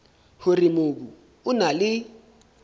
hore mobu o na le